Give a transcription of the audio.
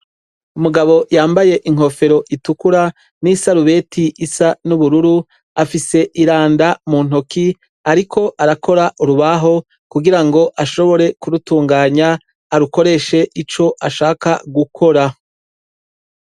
Umugabo yambaye inkofero itukura n"isarubeti isa n'ubururu, afise iranda mu ntoki, ariko arakora urubaho kugira ngo ashobore kurutunganya arukoreshe ico ashaka gukora.